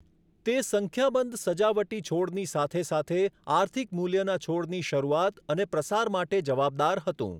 તે સંખ્યાબંધ સજાવટી છોડની સાથે સાથે આર્થિક મૂલ્યના છોડની શરૂઆત અને પ્રસાર માટે જવાબદાર હતું.